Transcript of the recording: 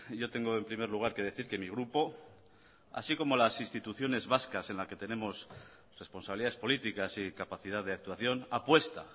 yo tengo en primer lugar que decir que mi grupo así como las instituciones vascas en la que tenemos responsabilidades políticas y capacidad de actuación apuesta